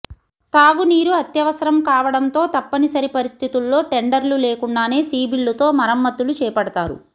తాగునీరు అత్యవసరం కావడంతో తప్పని సరి పరిస్థితుల్లో టెండర్లు లేకుండానే సి బిల్లుతో మరమత్తులు చేపడతారు